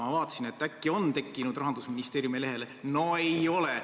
Ma vaatasin, et äkki on tekkinud Rahandusministeeriumi kodulehele – no ei ole.